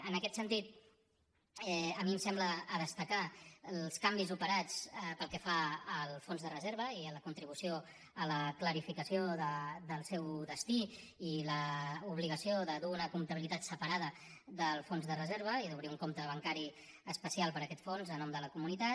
en aquest sentit a mi em sembla que cal destacar els canvis operats pel que fa al fons de reserva la contribució a la clarificació del seu destí i l’obligació de dur una comptabilitat separada del fons de reserva i d’obrir un compte bancari especial per a aquest fons a nom de la comunitat